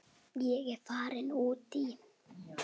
Ég er farin út í.